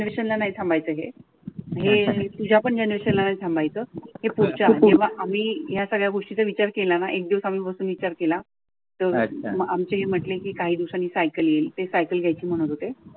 हे तुझ्या पण जनरेशला नाही थांबायचं हे आम्ही या सगळ्या गोष्टींचा विचार केला ना. एक दिवसांपासून विचार केल तर आमचे हे म्हटले की काही दिवसांनी सायकल येईल ते सायकल घ्यायची म्हणत होते.